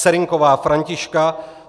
Serynková Františka